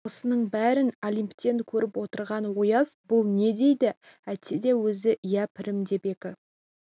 осының бәрін олимптен көріп отырған ояз бұл не деді әйтсе де өзі иә пірім деп екі